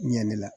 Ɲɛn ne la